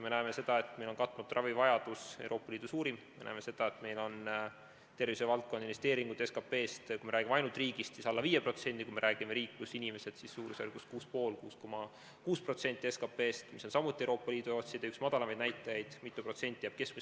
Me näeme, et meil on katmata ravivajadus Euroopa Liidu suurim, me näeme, et meil on tervishoiuvaldkonna investeeringud, kui me räägime ainult riigist, alla 5% SKP-st, kui me räägime variandist "riik pluss inimesed", siis on see suurusjärgus 6,5–6,6% SKP-st, mis on samuti Euroopa Liidu ja OECD üks madalamaid näitajaid, jääb mitu protsenti keskmisele alla.